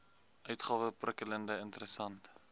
uitgawe prikkelend interessant